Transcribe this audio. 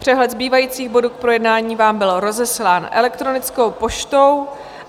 Přehled zbývajících bodů k projednání vám byl rozeslán elektronickou poštou.